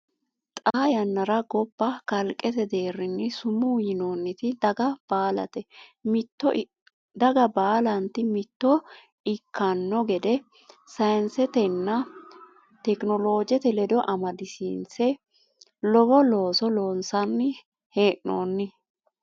Xaa yannara gobba kalqete deerrinni sumuu yinoonniti daga baalate mitto ikkanno gede sayinsetenna tekinoloojete ledo amadisiinse lowo looso loonsanni hee noonni.